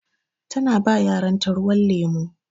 Ta na ba yaran ta ruwan lemu.